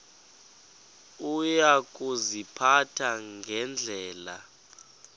uya kuziphatha ngendlela